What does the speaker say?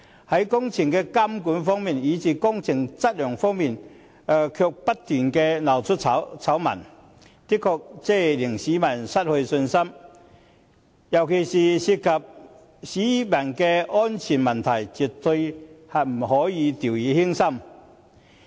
在工程監管及工程質量方面，不斷鬧出醜聞，的確令市民失去信心，尤其是工程涉及市民的安全問題，絕對不可以掉以輕心。